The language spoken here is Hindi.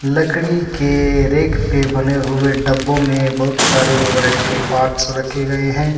लकड़ी के रैंक पे बने हुए डब्बो में बहुत सारे मोबाइल के पार्ट्स रखे गए हैं।